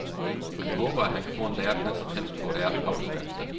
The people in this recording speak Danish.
Han håber, at han kan få en læreplads, helst på et autoværksted.